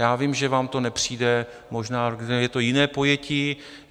Já vím, že vám to nepřijde, možná je to jiné pojetí.